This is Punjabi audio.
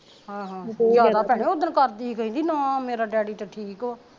ਬੇੜਾ ਭੈਣੇ ਉਦਣ ਕਰਦੀ ਕਹਿੰਦੀ ਨਾ ਮੇਰਾ ਡੈਡੀ ਤੇ ਠੀਕ ਆ